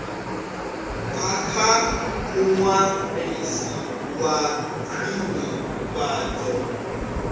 bva kha muṅwalisi wa khwinifhadzo